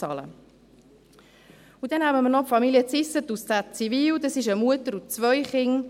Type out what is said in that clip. Dann nehmen wir noch Familie Zysset aus Zäziwil, eine Mutter und zwei Kinder.